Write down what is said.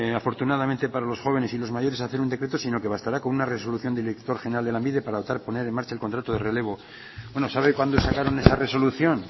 afortunadamente para los jóvenes y los mayores hacer un decreto sino que bastará con una resolución del director general de lanbide para optar poner en marchar el contrato de relevo bueno sabe cuándo sacaron esa resolución